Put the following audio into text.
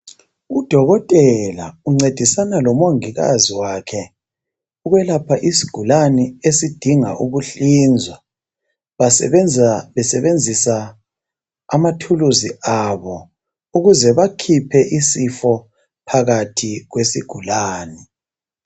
Udokotela uncedisana lomongikazi wakhe ukwelapha isigulane esidinga Ukuhlinzwa basebenza besebenzisa amathuluzi abo ukuze bakhiphe isifo phakathi kwesigulani.